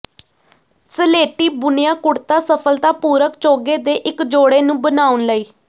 ਸਲੇਟੀ ਬੁਣਿਆ ਕੁਡ਼ਤਾ ਸਫਲਤਾਪੂਰਕ ਚੋਗੇ ਦੇ ਇੱਕ ਜੋੜੇ ਨੂੰ ਬਣਾਉਣ ਲਈ